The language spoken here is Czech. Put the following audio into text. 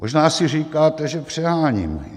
Možná si říkáte, že přeháním.